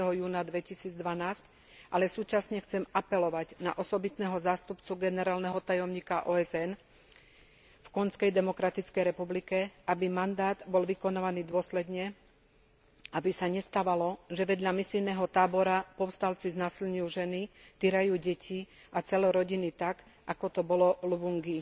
30. júna 2012, ale súčasne chcem apelovať na osobitného zástupcu generálneho tajomníka OSN v Konžskej demokratickej republike, aby mandát bol vykonávaný dôsledne, aby sa nestávalo, že vedľa misijného tábora povstalci znásilňujú ženy, týrajú deti a celé rodiny tak, ako to bolo v Luvungi.